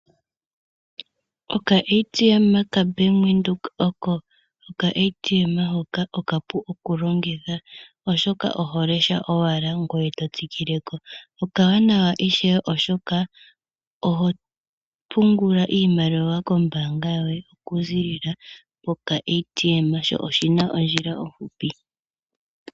OkaATM ka Bank Windhoek oko okaATM hoka okapu okulongitha oshoka oho lesha owala eto tsikileko, okawanawa ishewe oshoka oho pungula iimaliwa kombaanga yoye okuzilila pokaATM sho oshina ondjila ofupi.